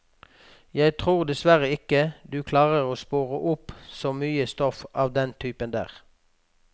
Jeg tror dessverre ikke du klarer å spore opp så mye stoff av den typen der.